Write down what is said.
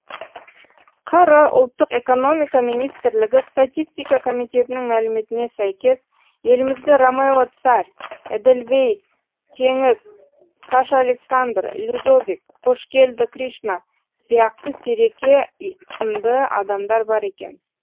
қр ұлттық экономика министрлігі статистика комитетінің мәліметіне сәйкес елімізде ромео царь эдельвейс теңіз саша александр людовик қошкелді кришна сияқты сиреке сындыадамдар бар екен